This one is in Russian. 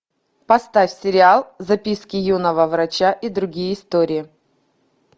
поставь сериал записки юного врача и другие истории